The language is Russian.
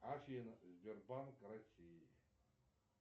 афина сбербанк россии